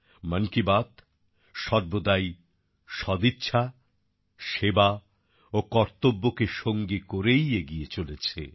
মন কি বাত সর্বদাই সদিচ্ছা সেবা ও কর্তব্যকে সঙ্গী করেই এগিয়ে চলেছে